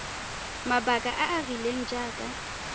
mabaka a a rileng jaaka